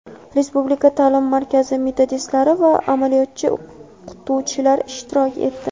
Respublika ta’lim markazi metodistlari va amaliyotchi o‘qituvchilar ishtirok etdi.